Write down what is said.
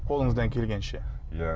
қолыңыздан келгенше иә